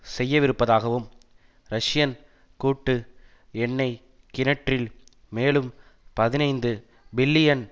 செய்யவிருப்பதாகவும் Russian கூட்டு எண்ணெய் கிணற்றில் மேலும் பதினைந்து பில்லியன்